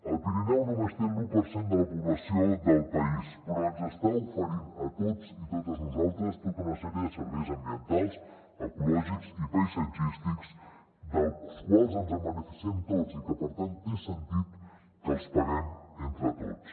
el pirineu només té l’u per cent de la població del país però ens està oferint a tots i totes nosaltres tota una sèrie de serveis ambientals ecològics i paisatgístics dels quals ens beneficiem tots i que per tant té sentit que els paguem entre tots